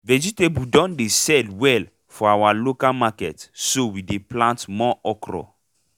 vegetable don dey sell well for our local market so we dey plant more okra